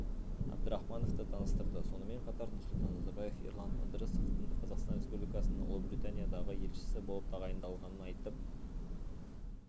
әбдірахмановты таныстырды сонымен қатар нұрсұлтан назарбаев ерлан ыдырысовтың қазақстан республикасының ұлыбританиядағы елшісі болып тағайындалғанын айтып